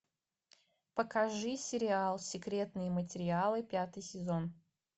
покажи сериал секретные материалы пятый сезон